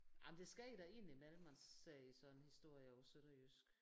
Jamen det sker da ind i mellem man ser sådan en historie på sønderjysk